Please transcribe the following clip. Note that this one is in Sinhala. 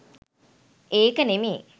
ඒක නෙමේ